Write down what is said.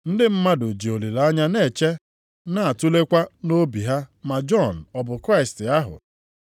Ndị mmadụ ji olileanya na-eche na-atulekwa nʼobi ha ma Jọn ọ bụ Kraịst ahụ.